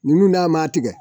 Nunnu n'a ma tigɛ